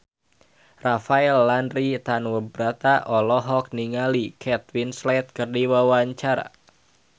Rafael Landry Tanubrata olohok ningali Kate Winslet keur diwawancara